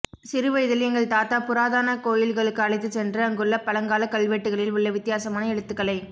சிறு வயதில் எங்கள் தாத்தா புராதன கோயில்களுக்கு அழைத்துச் சென்று அங்குள்ள பழங்கால கல்வெட்டுகளில் உள்ள வித்தியாசமான எழுத்துக்களை